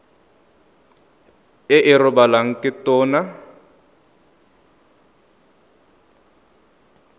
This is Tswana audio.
e e rebolwang ke tona